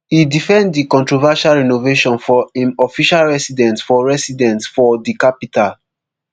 e defend di controversial renovation for im official residence for residence for di capital